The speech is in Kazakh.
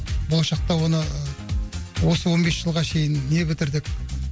болашақта оны осы он бес жылға шейін не бітірдік